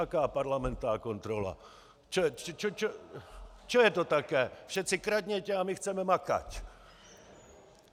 Aká parlamentná kontrola, čo je to také, všeci kradnětě a my chceme makať.